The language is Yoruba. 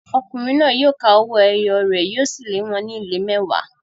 Ọkùnrin náà yóò ka owó ẹyọ rẹ̀, yóò sì lé wọn ní ìlé mẹ́wàá.